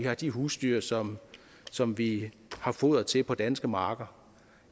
har de husdyr som som vi har foder til på danske marker